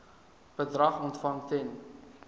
bedrag ontvang ten